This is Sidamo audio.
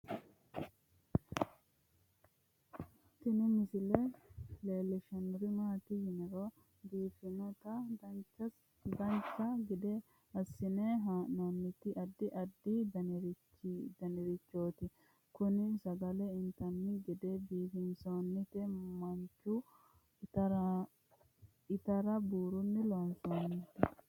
Tini misile leellishshannori maati yiniro biiffannoti dancha gede assine haa'noonniti addi addi danirichooti kunino sagale intanni gede biifinsoonnite machu. itarabuurunni loonsoonni